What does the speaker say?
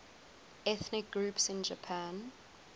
ethnic groups in japan